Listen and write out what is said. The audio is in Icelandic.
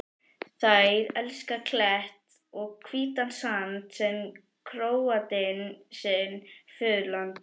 Þær elska klett og hvítan sand sem Króatinn sitt föðurland.